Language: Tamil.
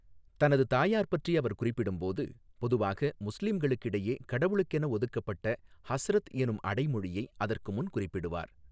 தனது தாயார் பற்றி அவர் குறிப்பிடும்போது, பொதுவாக முஸ்லிம்களிடையே கடவுளுக்கென ஒதுக்கப்பட்ட 'ஹஸ்ரத்' எனும் அடைமொழியை அதற்கு முன் குறிப்பிடுவார்.